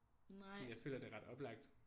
Sådan jeg føler det er ret oplagt